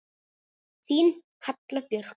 Þín Halla Björk.